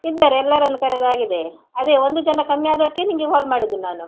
ಇದ್ದಾರೆ ಎಲ್ಲರನ್ನು ಕರೆದಾಗಿದೆ ಅದೇ ಒಂದು ಜನ ಕಮ್ಮಿಯಾದಕ್ಕೆ ನಿಂಗೆ call ಮಾಡಿದ್ದು ನಾನು.